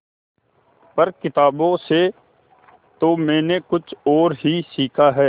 पर किताबों से तो मैंने कुछ और ही सीखा है